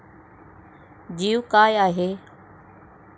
जीव काय आहे?